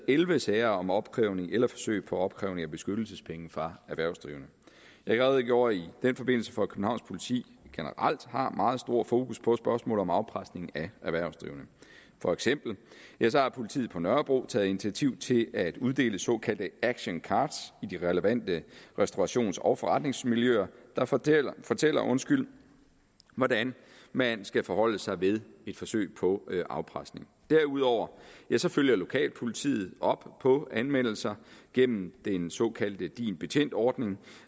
elleve sager om opkrævning eller forsøg på opkrævning af beskyttelsespenge fra erhvervsdrivende jeg redegjorde i den forbindelse for at københavns politi generelt har meget stor fokus på spørgsmål om afpresning af erhvervsdrivende for eksempel har politiet på nørrebro taget initiativ til at uddele såkaldte action cards i de relevante restaurations og forretningsmiljøer der fortæller fortæller hvordan man skal forholde sig ved et forsøg på afpresning derudover følger lokalpolitiet op på anmeldelser gennem den såkaldte din betjent ordning